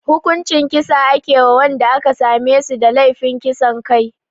Hukuncin kisa ake wa wanda aka same su da laifin kisan kai